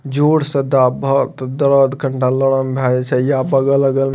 जोर स दाभ त दर्द तनका लरम भ जाय छ या बगल-अगल --